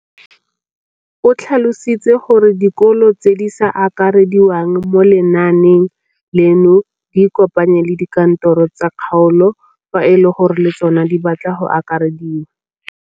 O tlhalositse gore dikolo tse di sa akarediwang mo lenaaneng leno di ikopanye le dikantoro tsa kgaolo fa e le gore le tsona di batla go akarediwa.